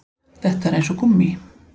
Þetta er eins og gúmmí